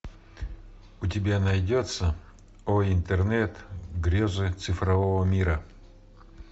у тебя найдется о интернет грезы цифрового мира